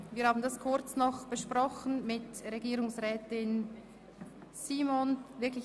Wir haben diesbezüglich kurz mit Frau Regierungsrätin Simon gesprochen.